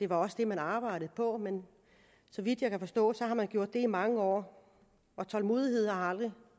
var det man arbejdede på men så vidt jeg kan forstå har man gjort det i mange år og tålmodighed har aldrig